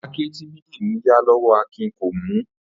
Àáké tí Bídèmí yá ló̩wó̩ Akìn kò mú